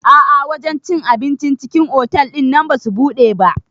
A'a wajen cin abincin cikin otal ɗinnan basu buɗe ba